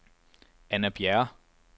Anna Bjerre